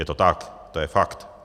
Je to tak, to je fakt.